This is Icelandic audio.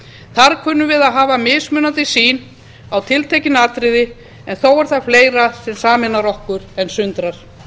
þar kunnum við að hafa mismunandi sýn á tiltekin atriði en þó er þar fleira sem sameinar okkur en sundrar